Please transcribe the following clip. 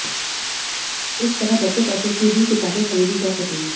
इस तरह बचे पैसों की भी किताबें खरीदी जा सकेंगी